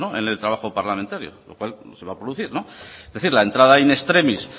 en el trabajo parlamentario lo cual se va a producir es decir la entrada in extremis